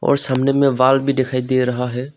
और सामने में वाल भी दिखाई दे रहा है।